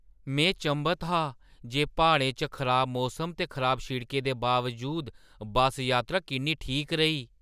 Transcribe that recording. में चंभत हा जे प्हाड़ें च खराब मौसम ते खराब शिड़कें दे बावजूद बस्स यात्रा किन्नी ठीक रेही!